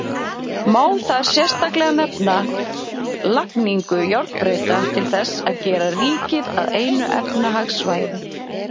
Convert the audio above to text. Má þar sérstaklega nefna lagningu járnbrauta til þess að gera ríkið að einu efnahagssvæði.